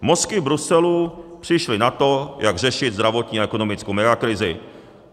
Mozky v Bruselu přišly na to, jak řešit zdravotní a ekonomickou megakrizi.